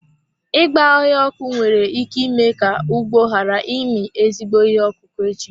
Ịgba ọhịa ọkụ nwere ike ime ka ugbo ghara ịmị ezigbo ihe ọkụkụ echi.